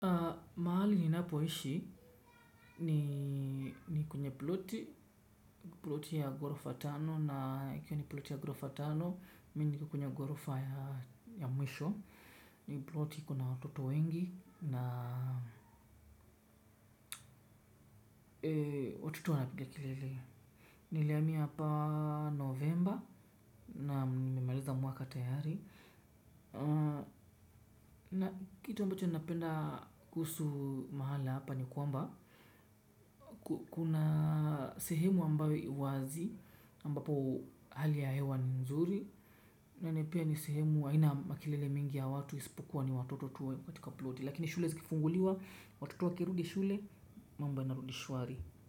Mahali ninapoishi ni kwenye ploti, ploti ya ghorofa tano na ikiwa ni ploti ya ghorofa tano, mimi niko kwenye ghorofa ya mwisho, ni ploti ikona watoto wengi na watoto wanapiga kelele. Nilihamia hapa novemba naam nimemaliza mwaka tayari. Na kitu ambacho ninapenda kuhusu mahala hapa ni kwamba kuna sehemu ambayo iwazi ambapo hali ya hewa ni nzuri. Na ni pia ni sehemu haina makelele mingi ya watu isipokuwa ni watoto tu katika ploti. Lakini shule zikifunguliwa, watoto wakirudi shule, mambo yanarudi shwari.